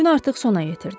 Gün artıq sona yetirdi.